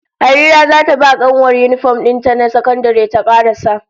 Harira zata ba kanuwar yinifom din ta na sakandare ta karasa